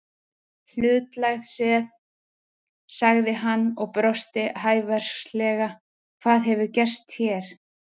Hlutlægt séð, sagði hann og brosti hæversklega, hvað hefur gerst hér?